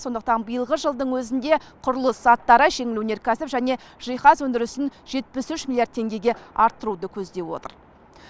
сондықтан биылғы жылдың өзінде құрылыс заттары жеңіл өнеркәсіп және жиһаз өндірісін жетпіс үш миллиард теңгеге арттыруды көздеп отыр